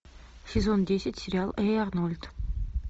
сезон десять сериал эй арнольд